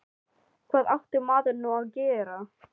Hvað átti maður nú að gera?